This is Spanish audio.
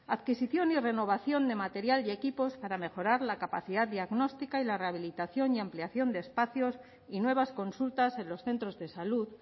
adquisición y renovación de material y equipos para mejorar la capacidad diagnóstica y la rehabilitación y ampliación de espacios y nuevas consultas en los centros de salud